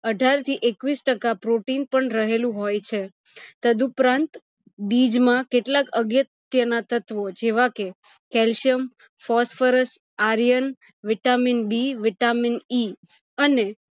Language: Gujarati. અઠાર થી એકવીશ ટકા protein પણ રહેલું હોય છે તદુપરાંત બીજ માં કેટલા અગત્ય ના તત્વો જેવા કે clacium, phosphorus, iron, vitamin B, vitamin E અને